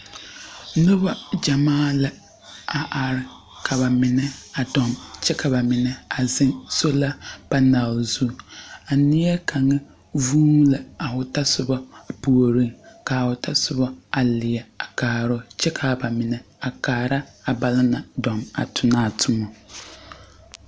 Nuba jamaa la a arẽ kaba mena a arẽ kye ka ba mena a zeng sola panel zu a neɛ kanga zuunee a ɔ tosuba pouring ka a ɔ tɔsoba a leɛ a kaaroo kye ka ba mena a kaara a banna nang duo a tonna a tuma.